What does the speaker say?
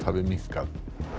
hafi minnkað